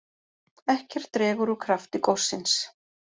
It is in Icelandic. Ekkert dregur úr krafti gossins